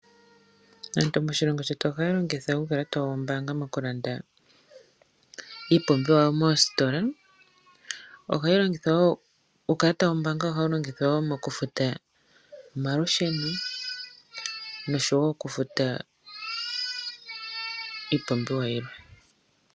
Aantu moshilongo shetu ohaya longitha uukalata wawo wombaanga okulanda iipumbiwa moositola. Uukalata wombaanga ohawu longithwa wo okufuta omalusheno noshowo okufuta iipumbiwa yilwe.